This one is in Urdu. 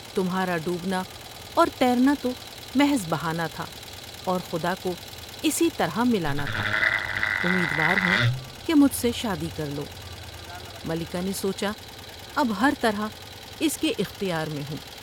تمھارا ڈوبنا اور تیرنا تو محض بہانہ تھا اور خدا کو اسی طرح ملانا تھا ، امیدوار ہوں کہ مجھ سے شادی کرلو '' ملکہ نے سوچا اب ہر طرح اس کے اختیار میں ہوں ۔